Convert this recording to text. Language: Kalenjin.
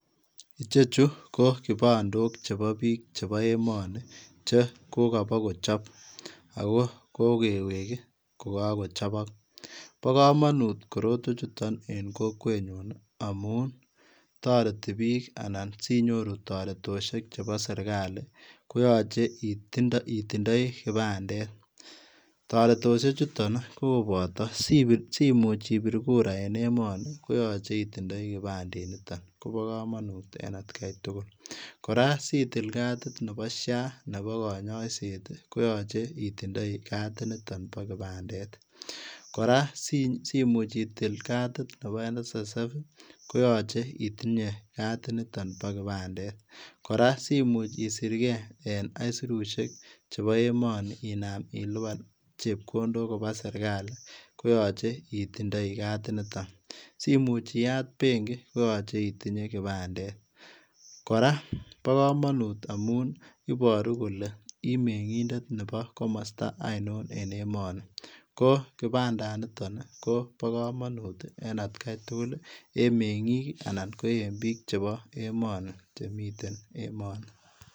ichechu ko kipandok chepo biik chepo emoni che kokopokochop ,ako kokewek kokakochop pokomonut korotwechuto en kokwenyun amun toreti biik anan sinyoru toretoshek chepo serikali koyoche itindoi kipandet toretoshechuto kopoto simuch ibir kura en emoni koyoche itindoi kipande nito kopokomonut en atkai tugul, kora sitil katit nepo SHA nepo konyoiset koyoche itindoi katinito po kipandet kora simuch itil katik nepo NSSF koyoche itinye katitinito po kipandet ,kora simuch isirke en aisuriseiek chepo emoni inam ilipan chepkondok kopaa serikali koyoche itindoi katinito simuch iyat benki koyoche itindoi kipandet kora pokomonut amun iboru kole imeng'indet nepo komosta ainon en emomi ko kipandanito nii kopokomonut en atkai tugul en meng'ik anan ko en biik chepo emoni chemiten emoni.